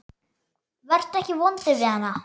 Vertu ekki vondur við hana.